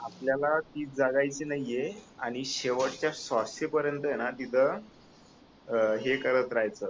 आपल्याला ती जगायची नाहीये आणि शेवटच्या श्वासापर्यंतय ना तिथ अं हे करत राहयच